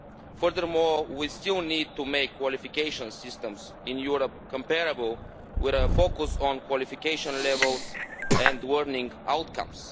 Furthermore, we still need to make qualification systems in Europe comparable, with a focus on qualification levels and learning outcomes.